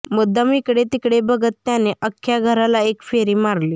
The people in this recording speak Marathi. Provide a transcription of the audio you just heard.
मुद्दाम इकडे तिकडे बघत त्याने अख्ख्या घराला एक फेरी मारली